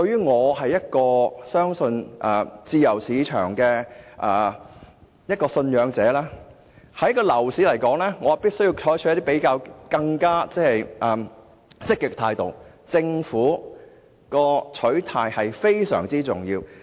我信奉自由市場，所以我認為要解決樓市問題，便必須有更積極的態度，即政府的取態至關重要。